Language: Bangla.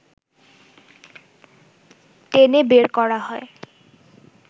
টেনে বের করা হয়